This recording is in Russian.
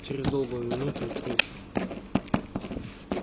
через долгую минуту третье